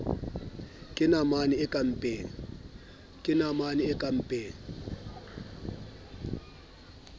ke namane e ka mpeng